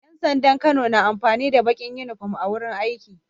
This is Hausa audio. Yan sandan Kano na amfani da Bakin inufom a wajan aiki